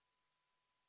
Istungi lõpp kell 13.01.